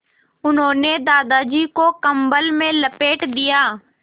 उन्होंने दादाजी को कम्बल में लपेट दिया